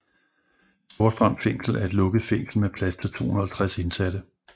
Storstrøm Fængsel er et lukket fængsel med plads til 250 indsatte